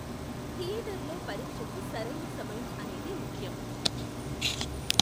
థియేటర్లో పరీక్షకు సరైన సమయం అనేది ముఖ్యం.